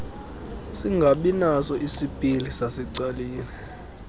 singabinaso isipili sasecaleni